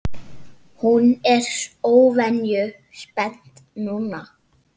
Hún er óvenju spennt núna.